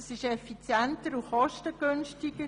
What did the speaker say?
Das ist effizienter und kostengünstiger.